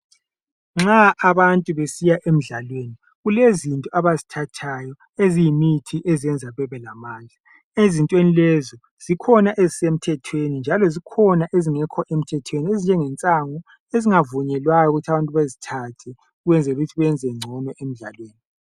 Nxa abantu besiya emidlalweni kulezinto abazithathayo eziyimithi ezenza babelamandla. Ezintweni lezi zikhona ezisemthethweni njalo zikhona ezingekho emthethweni ezinjengensango ezingavunyelwayo ukuthi abantu bezithathe ukwenzela ukuthi benze ngcono emidlalweni.